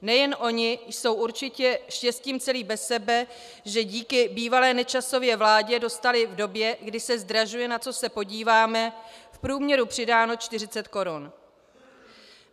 Nejen oni jsou určitě štěstím celí bez sebe, že díky bývalé Nečasově vládě dostali v době, kdy se zdražuje, na co se podívám, v průměru přidáno 40 korun.